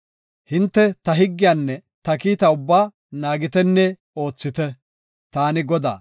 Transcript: “Hinte ta higgiyanne ta kiitaa ubbaa naagitenne oothite. Taani Godaa.”